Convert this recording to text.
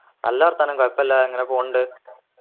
നല്ല വർത്താനം കൊഴപ്പില്ല അങ്ങനെ പോണിണ്ട്